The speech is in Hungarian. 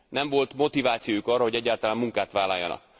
Nem volt motivációjuk arra, hogy egyáltalán munkát vállaljanak.